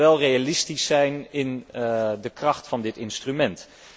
Maar we moeten wel realistisch zijn in de kracht van dit instrument.